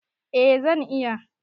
Eh zan iya